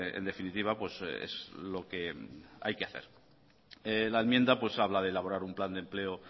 en definitiva es lo que hay que hacer la enmienda habla de elaborar un plan de empleo